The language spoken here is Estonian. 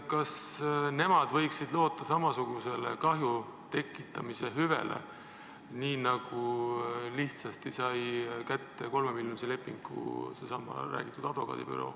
Kas nemad võiksid loota sama lihtsale kahju tekitamise hüvitamisele, nii nagu lihtsasti sai kätte 3-miljonilise lepingu seesama advokaadibüroo?